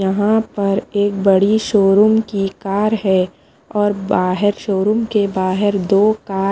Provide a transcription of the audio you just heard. यहाँ पर एक बड़ी शोरूम की कार है और बाहेर शोरूम के बाहेर दो का--